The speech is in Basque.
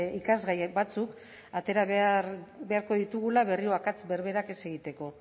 ikasgai batzuk atera beharko ditugula berriro akats berberak ez egiteko